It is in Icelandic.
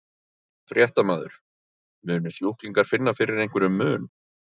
Fréttamaður: Munu sjúklingar finna fyrir einhverjum mun?